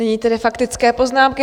Nyní tedy faktické poznámky.